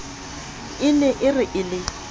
ne e re e le